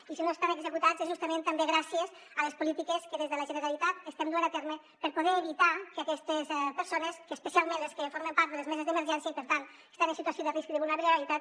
i si no estan executats és justament també gràcies a les polítiques que des de la generalitat estem duent a terme per poder evitar que aquestes persones especialment les que formen part de les meses d’emergència i per tant estan en situació de risc de vulnerabilitat